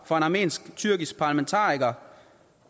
fra en armensk tyrkisk parlamentariker